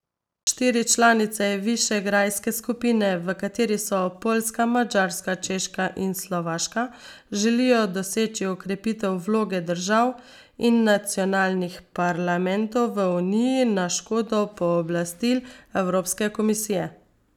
Štiri članice višegrajske skupine, v kateri so Poljska, Madžarska, Češka in Slovaška, želijo doseči okrepitev vloge držav in nacionalnih parlamentov v uniji na škodo pooblastil Evropske komisije.